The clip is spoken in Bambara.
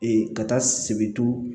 ka taa sebintu